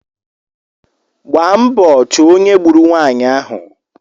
Gbaa mbọ chọọ ónyé gburu nwanyị ahụ